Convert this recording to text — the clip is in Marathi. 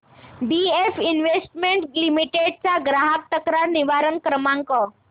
बीएफ इन्वेस्टमेंट लिमिटेड चा ग्राहक तक्रार निवारण क्रमांक